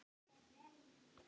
Að mat mitt sé rangt.